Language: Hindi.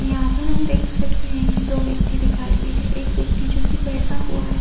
यहाँ पर हम देख सकते हैं कि दो व्यक्ति दिखाई दे रहे हैं। एक व्यक्ति जोकि बैठा हुआ है।